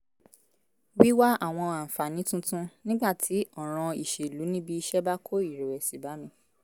wíwá àwọn àǹfààní tuntun nígbà tí ọ̀ràn ìṣèlú níbi iṣẹ́ bá kó ìrẹ̀wẹ̀sì bá mi